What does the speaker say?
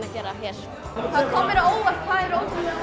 að gera hér það kom mér á óvart hvað eru ótrúlega